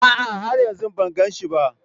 A'a, har yanzu ban gan shi ba